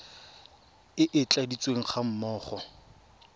e e tladitsweng ga mmogo